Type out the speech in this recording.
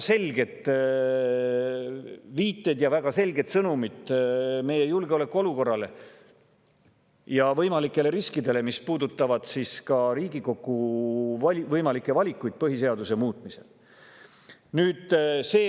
Seal on väga selged viited meie julgeolekuolukorrale ja võimalikele riskidele ning väga selged sõnumid, mis puudutavad ka Riigikogu võimalikke valikuid põhiseaduse muutmisel.